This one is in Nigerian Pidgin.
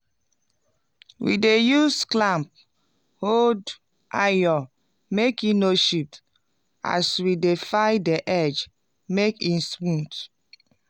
we dey use clamp hold iron make e no shift as we dey file di edge make e smooth.